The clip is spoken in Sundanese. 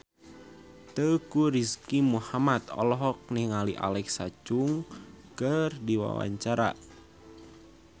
Teuku Rizky Muhammad olohok ningali Alexa Chung keur diwawancara